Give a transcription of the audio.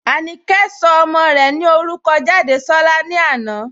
Ànìkẹ̀ sọ̀ ọmọ́ rè ní orúkọ́ Jádésọ̀lá lànà"